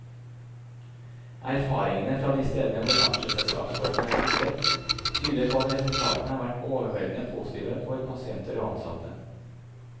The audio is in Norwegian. Erfaringene fra de stedene hvor aksjeselskapsformen er benyttet, tyder på at resultatene har vært overveldende positive for pasienter og ansatte.